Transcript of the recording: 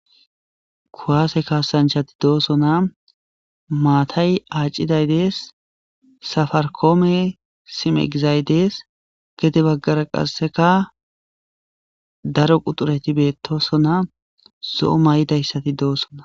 Kuwase kasanchati betosona matay aaciday deessafarikome sime gizay dees gexe bagara qaseka daro quxureti betosona zo'o mayidaysati doosona